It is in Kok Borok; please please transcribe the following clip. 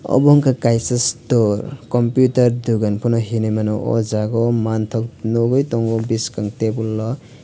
obo ungka kaisa store computer dogan pono hinui mano o jaga o mangtok nogoi tango biskang tebol o.